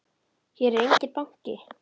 Hér er enginn banki!